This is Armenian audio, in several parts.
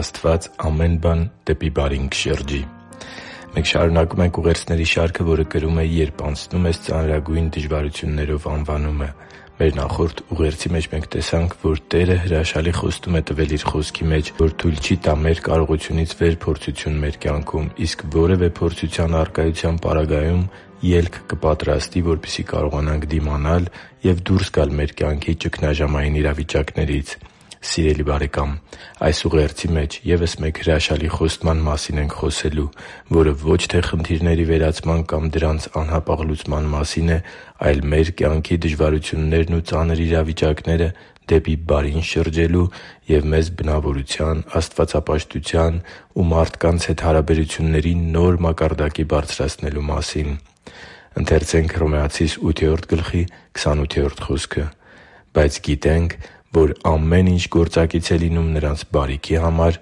Աստված ամեն բան դեպի բարին կշրջի Մենք շարունակում ենք ուղերձների շարքը, որը կրում է «Երբ անցնում ես ծանրագույն դժվարություններով» անվանումը։ Մեր նախորդ ուղերձի մեջ տեսանք, որ Տերը հրաշալի խոստում է տվել Իր Խոսքի մեջ, որ թույլ չի տա մեր կարողությունից վեր փորձություն մեր կյանքում, իսկ որևէ փորձության առկայության պարագայում ելք կպատրաստի, որպեսզի կարողանանք դիմանալ ու դուրս գալ մեր կյանքի ճգնաժամային իրավիճակներից։ Սիրելի՛ բարեկամ, այս ուղերձի մեջ ևս մեկ հրաշալի խոստման մասին ենք խոսելու, որը ո՛չ թե խնդիրների վերացման կամ դրանց անհապաղ լուծման մասին է, այլ մեր կյանքի դժվարություններն ու ծանր իրավիճակները դեպի բարին շրջելու և մեզ բնավորության, աստվածապաշտության ու մարդկանց հետ հարաբերությունների նոր մակարդակի բարձրացնելու մասին։ «Բայց գիտենք, որ ամեն ինչ գործակից է լինում նրանց բարիքի համար,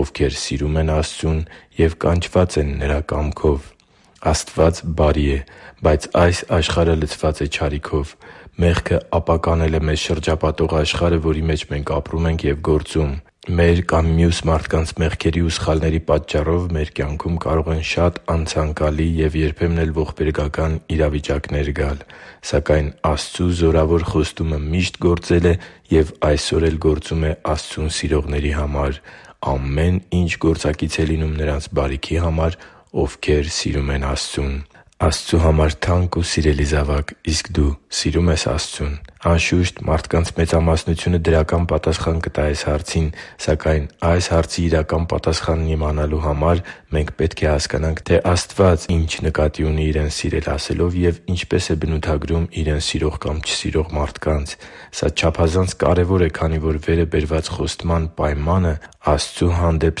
ովքեր սիրում են Աստծուն և կանչված են Նրա կամքով» (Հռոմեացիս 8․28 ՆՎԱԱ): Աստված բարի է, բայց այս աշխարհը լցված է չարիքով։ Մեղքը ապականել է մեզ շրջապատող աշխարհը, որի մեջ մենք ապրում ենք և գործում։ Մեր կամ մյուս մարդկանց մեղքերի ու սխալների պատճառով մեր կյանքում կարող են շատ անցանկալի և երբեմն էլ ողբերգական իրավիճակներ գալ։ Սակայն Աստծու զորավոր խոստումը միշտ գործել է և այսօր էլ գործում է Աստծուն սիրողների համար․ «Ամեն ինչ գործակից է լինում նրանց բարիքի համար, ովքեր սիրում են Աստծուն․․․»։ Աստծու համար թանկ ու սիրելի՛ զավակ, իսկ դու սիրո՞ւմ ես Աստծուն։ Անշուշտ, մարդկանց մեծամասնությունը դրական պատասխան կտա այս հարցին։ Սակայն այս հարցի իրական պատասխանն իմանալու համար մենք պետք է հասկանանք, թե Աստված ի՞նչ նկատի ունի՝ Իրեն սիրել ասելով և ինչպե՞ս է բնութագրում Իրեն սիրող կամ չսիրող մարդկանց։ Սա չափազանց կարևոր է, քանի որ վերը բերված խոստման պայմանը Աստծու հանդեպ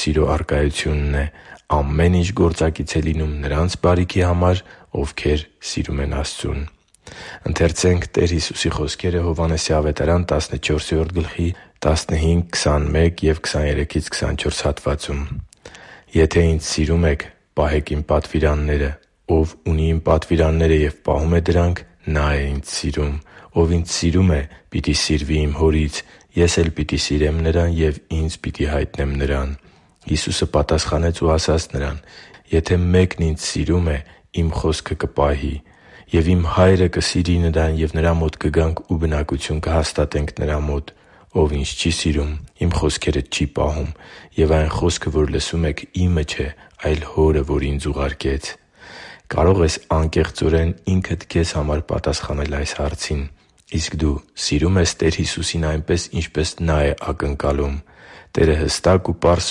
սիրո առկայությունն է․ «Ամեն ինչ գործակից է լինում նրանց բարիքի համար, ովքեր սիրում են Աստծուն․․․»։ «Եթե Ինձ սիրում եք, պահե՛ք Իմ պատվիրանները։ Ով ունի Իմ պատվիրանները և պահում է դրանք, նա՛ է Ինձ սիրում. ով Ինձ սիրում է, պիտի սիրվի Իմ Հորից, Ես էլ պիտի սիրեմ նրան և Ինձ պիտի հայտնեմ նրան»։ Հիսուսը պատասխանեց ու ասաց նրան. «Եթե մեկն Ինձ սիրում է, Իմ խոսքը կպահի։ Եվ Իմ Հայրը կսիրի նրան, և նրա մոտ կգանք ու բնակություն կհաստատենք նրա մոտ։ Ով Ինձ չի սիրում, Իմ խոսքերը չի պահում. և այն խոսքը, որ լսում եք, Իմը չէ, այլ Հորը, որ Ինձ ուղարկեց» (Հովհաննես 14․15,21,23-24 ՆՎԱԱ): Կարո՞ղ ես անկեղծորեն ինքդ քեզ համար պատասխանել այս հարցին՝ իսկ դու սիրո՞ւմ ես Տեր Հիսուսին այնպես, ինչպես Նա է ակնկալում։ Տերը հստակ ու պարզ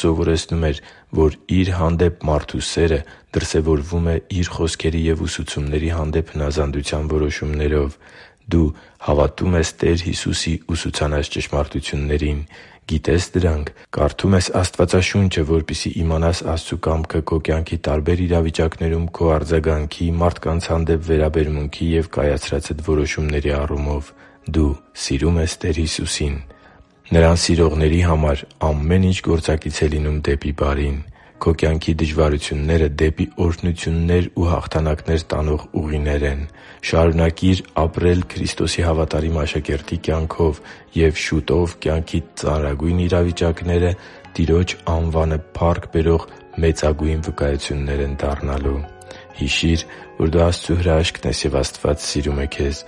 սովորեցնում էր, որ Իր հանդեպ մարդու սերը դրսևորվում է Իր խոսքերի և ուսուցումների հանդեպ հնազանդության որոշումներով։ Դու հավատո՞ւմ ես Տեր Հիսուսի ուսուցանած ճշմարտություններին։ Գիտե՞ս դրանք։ Կարդո՞ւմ ես Աստվածաշունչը, որպեսզի իմանաս Աստծու կամքը քո կյանքի տարբեր իրավիճակներում քո արձագանքի, մարդկանց հանդեպ վերաբերմունքի և կայացրածդ որոշումների առումով։ Դու սիրո՞ւմ ես Տեր Հիսուսին։ Նրան սիրողների համար ամեն ինչ գործակից է լինում բարիքի համար։ Քո կյանքի դժվարությունները դեպի օրհնություններ ու հաղթանակներ տանող ուղիներ են։ Շարունակի՛ր ապրել Քրիստոսի հավատարիմ աշակերտի կյանքով, և շուտով կյանքիդ ծանրագույն իրավիճակները Տիրոջ անվանը փառք բերող մեծագույն վկայությունն են դառնալու։ Հիշի՛ր, որ դու Աստծո հրաշքն ես, և Աստված սիրում է քեզ։